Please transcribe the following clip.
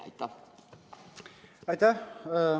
Aitäh!